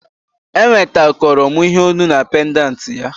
Enwetakoro m ihe olu na pendanti ya